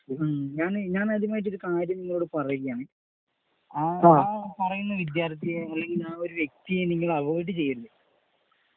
ഞാൻ . ഞാന് ആദ്യമായിട്ട് ഒരു കാര്യം നിങ്ങളോടു പറയുകയാണ്. ആ പറയുന്ന വിദ്യാർത്ഥിയെ അല്ലെങ്കിൽ ആ ഒരു വ്യക്തിയെ നിങ്ങൾ അവോയിഡ് ചെയ്യരുത്.